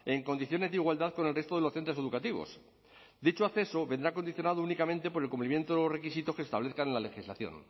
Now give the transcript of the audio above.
en condiciones de igualdad con el resto de los centros educativos dicho acceso vendrá condicionado únicamente por el cumplimiento de los requisitos que se establezca en la legislación